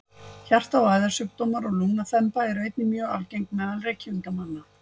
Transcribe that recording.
hjarta og æðasjúkdómar og lungnaþemba eru einnig mjög algeng meðal reykingamanna